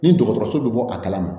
Ni dɔgɔtɔrɔso bɛ bɔ a kalama